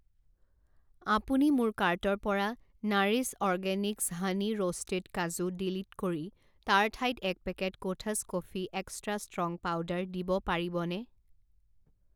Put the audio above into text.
আপুনি মোৰ কাৰ্টৰ পৰা Nourish organics honey roasted kaju delete কৰি তাৰ ঠাইত এক packet Kothas coffee extra strong powder দিব পাৰিবনে?